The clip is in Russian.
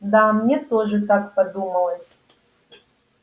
да мне тоже так подумалось